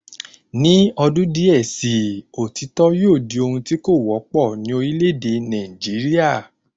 Ni odun díè sii, òtítọ́ yóò di ohun tí kò wọ́pọ̀ ní orílẹ̀ èdè Nàìjíríà